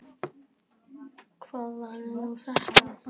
Hvað var nú þetta?